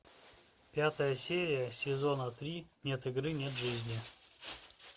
пятая серия сезона три нет игры нет жизни